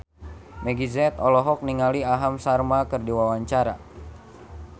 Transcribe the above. Meggie Z olohok ningali Aham Sharma keur diwawancara